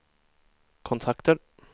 kontakter